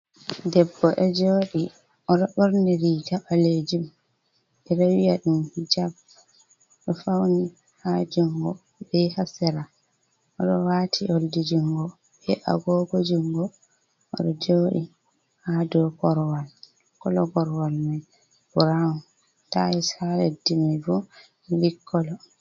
Debbo ɗo joodi, o ɗo ɓorni riiga ɓaleejum, ɓe wiya ɗum hijab, o ɗo fawni haa junngo, be haa sera, o ɗo waati oldi junngo, be agoogo junngo o ɗo joodi haa dow korowal, kolo korowal may boo, burawun, taayels haa leddi may ɓo milik kolo.